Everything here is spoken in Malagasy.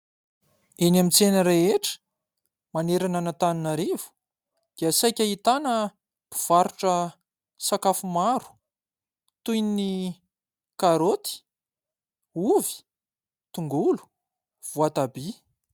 Eny amin'ny tsena rehetra manerana an'Antananarivo dia saika ahitana mpivarotra sakafo maro toy ny karoty, ovy, tongolo, voatabia.